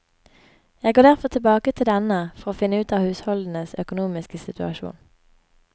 Jeg går derfor tilbake til denne for å finne ut av husholdenes økonomiske situasjon.